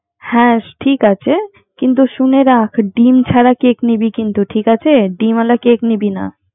হ্যা ঠিক আছে, কিন্তু শুনে রাখ ডিম ছারা কেক নিবি কিন্তু ঠিক আছেডিম আলা কেকে নিবি না